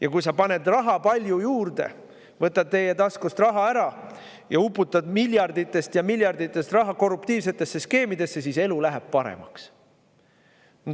Ja kui sa paned raha palju juurde, võtad taskust raha ära ja uputad miljardites ja miljardites korruptiivsetesse skeemidesse, siis elu läheb paremaks.